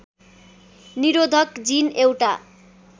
निरोधक जिन एउटा